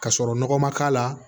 Ka sɔrɔ nɔgɔ man k'a la